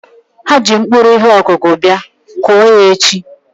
Ha ji mkpụrụ ihe ọkụkụ bia, kụọ ya echi!